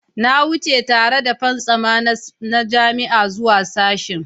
Na wuce tare da fantsama na jami'a zuwa sashen